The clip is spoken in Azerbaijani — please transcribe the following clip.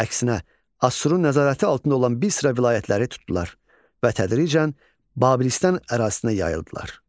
Əksinə, Assurun nəzarəti altında olan bir sıra vilayətləri tutdular və tədricən Babilistan ərazisinə yayıldılar.